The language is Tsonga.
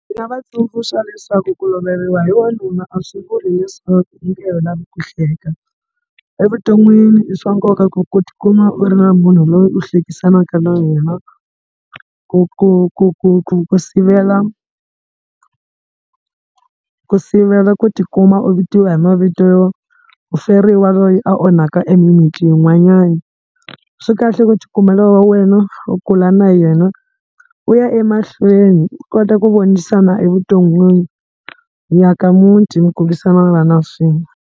Ndzi nga va tsundzuxa leswaku ku loveriwa hi wanuna a swi vuli leswaku u nge he lavi ku hleka. Evuton'wini i swa nkoka ku ku tikuma u ri na munhu loyi u hlekisanaka na yena ku ku ku sivela ku sivela ku tikuma u vitiwa hi mavito yo muferiwa loyi a onhaka emimitini yin'wanyana. Swi kahle ku tikumela wa wena u kula na yena u ya emahlweni u kota ku vonisana evuton'wini mi aka muti mi kombisanana swin'we.